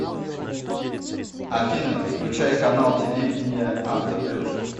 афина включай канал телевидения авто плюс